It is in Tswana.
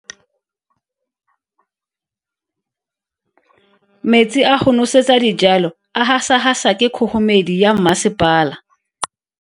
Metsi a go nosetsa dijalo a gasa gasa ke kgogomedi ya masepala.